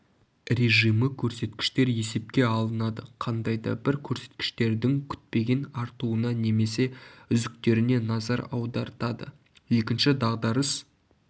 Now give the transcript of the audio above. режимі көрсеткіштер есепке алынады қандайда бір көрсеткіштердің күтпеген артуына немесе үзіктеріне назар аудартады екінші дағдарыс